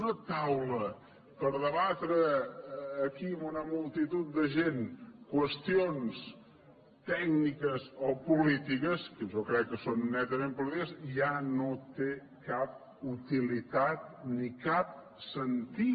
una taula per debatre aquí amb una multitud de gent qüestions tècniques o polítiques que jo crec que són netament polítiques ja no té cap utilitat ni cap sentit